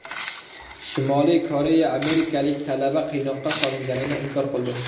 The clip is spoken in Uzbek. Shimoliy Koreya amerikalik talaba qiynoqqa solinganini inkor qildi.